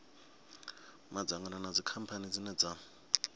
madzangano na dzikhamphani dzine dza